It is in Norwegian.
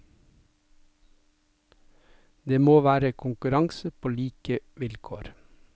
Det må være konkurranse på like vilkår.